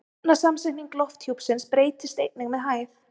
efnasamsetning lofthjúpsins breytist einnig með hæð